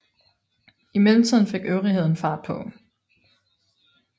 I mellemtiden fik øvrigheden fart på